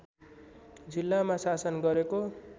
जिल्लामा शासन गरेको